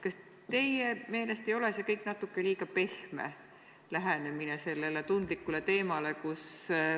Kas teie meelest ei ole see kõik natuke liiga pehme lähenemine sellele tundlikule teemale?